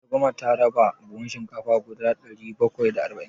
Matar gwamna ta raba buhun shinkafa guda ɗari bakwai da arba'in.